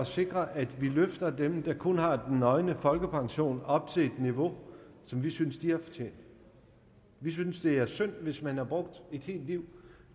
sikre at vi løfter dem der kun har den nøgne folkepension op til et niveau som vi synes de har fortjent vi synes det er synd at man hvis man har brugt et helt liv